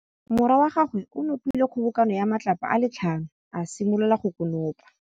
Morwa wa gagwe o nopile kgobokanô ya matlapa a le tlhano, a simolola go konopa.